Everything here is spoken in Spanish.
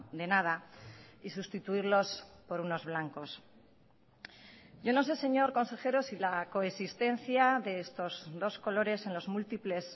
de nada y sustituirlos por unos blancos yo no sé señor consejero si la coexistencia de estos dos colores en los múltiples